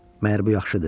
Məgər bu yaxşıdır?